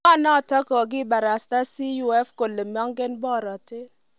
Ngaa notok, kokiibarasta CUF kole mengen borotet.